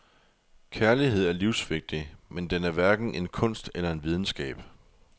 Kærlighed er livsvigtig, men den er hverken en kunst eller en videnskab.